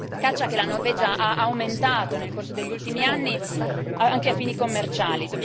Caccia che la Norvegia ha aumentato nel corso degli ultimi anni, anche a fini commerciali.